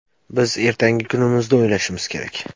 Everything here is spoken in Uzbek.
Biz ertangi kunimizni o‘ylashimiz kerak.